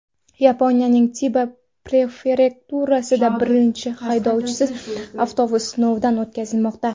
Yaponiyaning Tiba prefekturasida birinchi haydovchisiz avtobus sinovdan o‘tkazilmoqda.